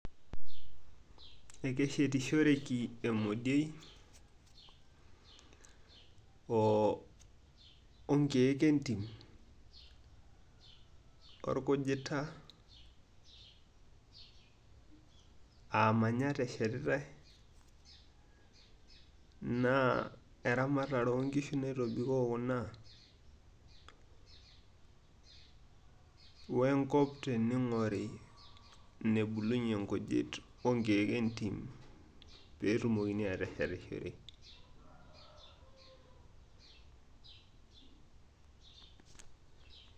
ekeshetisoreki emodiei, onkeek entim, orkujita, aamanyat eshetitae, naa eramatare oonkishu naitobikoo kuna, we nkop teneing'ori nebulunye inkujit, onkeek entim. pee etumokini aateshetishore.